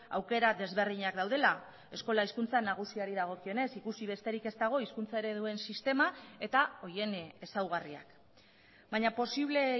aukera desberdinak daudela eskola hizkuntza nagusiari dagokionez ikusi besterik ez dago hizkuntza ereduen sistema eta horien ezaugarriak baina posible